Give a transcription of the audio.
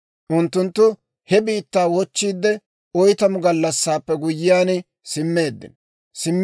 Unttunttu he biittaa wochchiidde, oytamu gallassaappe guyyiyaan simmeeddino;